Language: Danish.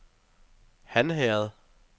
Hanherred